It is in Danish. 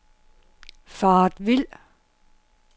faret vild